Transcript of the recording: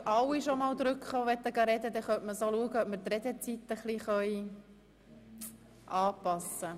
Wenn sich jetzt schon alle melden, können wir die Redezeit entsprechend anpassen.